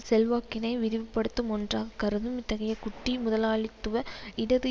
செல்வாக்கினை விரிவுபடுத்தும் ஒன்றாக் கருதும் இத்தகைய குட்டி முதலாளித்துவ இடது